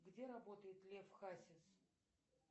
где работает лев хасис